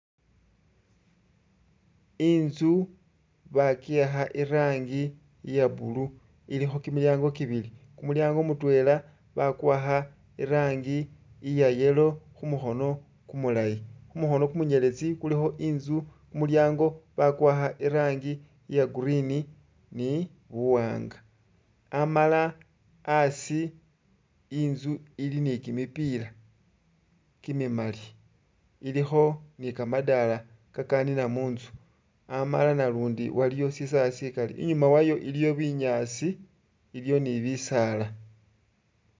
I'nzu baki'akha irangi iya blue ilikho kimilyango kibili, kumulyango mutwela bakuwakha irangi iya yellow khumukhono kumulayi, khumukhono kumunyeletsi kulikho i'nzu kumulyango bakuwakha irangi iya green ni buwaanga amala a'asi i'nzu ili ni kimipila kimimali ilikho ni kamadala kakanina mu'nzu, amala nalundi waliwo sisawe sikali, i'nyuma wayo iliyo binyaasi iliyo ni bisaala